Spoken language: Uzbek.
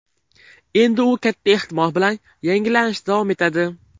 Endi u katta ehtimol bilan yangilanishda davom etadi.